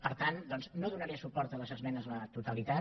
per tant doncs no donaré suport a les esmenes a la totalitat